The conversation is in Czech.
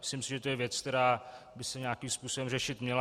Myslím si, že je to věc, která by se nějakým způsobem řešit měla.